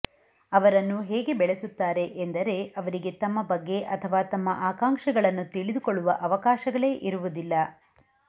ಅವರನ್ನು ಹೇಗೆ ಬೆಳೆಸುತ್ತಾರೆ ಎಂದರೆ ಅವರಿಗೆ ತಮ್ಮ ಬಗ್ಗೆ ಅಥವಾ ತಮ್ಮ ಆಕಾಂಕ್ಷೆಗಳನ್ನು ತಿಳಿದುಕೊಳ್ಳುವ ಅವಕಾಶಗಳೇ ಇರುವುದಿಲ್ಲ